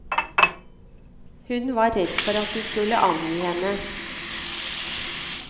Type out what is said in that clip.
Hun var redd for at de skulle angi henne.